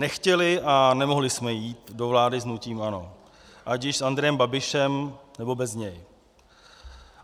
Nechtěli a nemohli jsme jít do vlády s hnutím ANO, ať již s Andrejem Babišem, nebo bez něj.